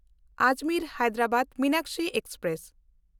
ᱟᱡᱽᱢᱮᱨ–ᱦᱟᱭᱫᱟᱨᱟᱵᱟᱫ Meenakshi express